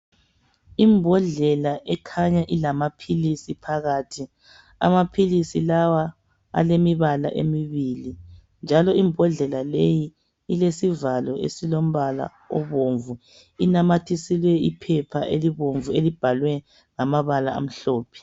Imbodlela ekhanya ilamaphilisi phakathi. Amaphilisi lawa alemibala emibili njalo imbodlela leyi ilesivalo esilombala obomvu. Inamathiselwe iphepha elibomvu. elibhalwe ngamabala amhlophe.